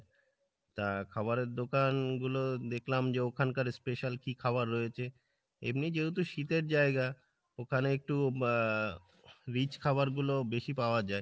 তা খাবারের দোকান গুলো দেখলাম যে ওখানকার special কী খাবার রয়েছে, এমনি যেহেতু শীতের জায়গা ওখানে একটু আহ rich খাবার গুলো বেশি পাওয়া যাই।